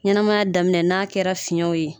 Ɲɛnɛmaya daminɛ n'a kɛra fiɲɛw ye